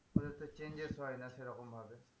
ওদের তো changes হয় না সেরকম ভাবে।